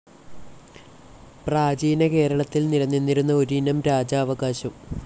പ്രാചീന കേരളത്തിൽ നിലനിന്നിരുന്ന ഒരിനം രാജാവകാശം.